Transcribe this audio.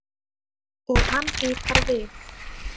Og hann hikar við.